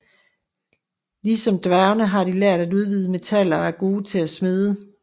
Ligesom dværgene har de lært at udvinde metaller og er gode til at smede